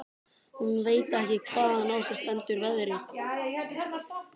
Hún veit ekki hvaðan á sig stendur veðrið.